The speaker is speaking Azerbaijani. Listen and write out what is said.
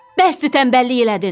Bəsdir tənbəllik elədin.